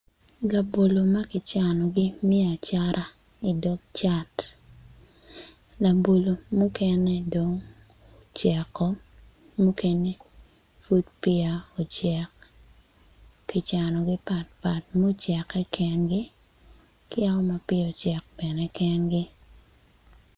Labolo ma kicanogi me acata i dog cat labolo mukene dong oceko mukene oud peya ocek kicanogi patpat mucekke kengi kiyaka ma peya ocek kengi.